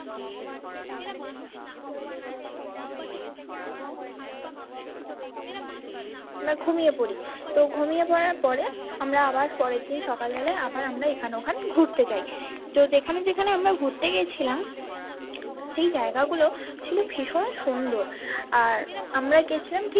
আমরা ঘুমিয়ে পড়ি তো ঘুমিয়ে পড়ার পরে আমরা আবার পরেরদিন সকালবেলা আবার আমরা এখন ওখান ঘুরতে যায় তো যেখানে যেখানে আমরা ঘুরতে গেছিলাম সেই জায়গা গুলো ছিল ভীষণ সুন্দর আর আমরা গেছিলাম ঠিক।